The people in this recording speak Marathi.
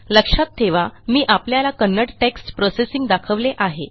लक्षात ठेवा मी आपल्याला कन्नड टेक्स्ट प्रोसेसिंग दाखवले आहे